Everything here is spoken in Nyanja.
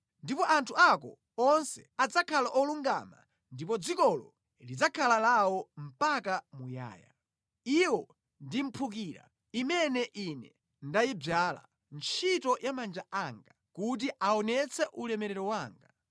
Ndipo anthu ako onse adzakhala olungama ndipo dzikolo lidzakhala lawo mpaka muyaya. Iwo ndi mphukira imene Ine ndayidzala, ntchito ya manja anga, kuti aonetse ulemerero wanga.